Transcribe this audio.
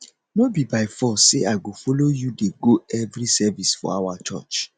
no be by force say i go follow you dey go every service for our church